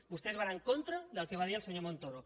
vostès van en contra del que va dir el senyor montoro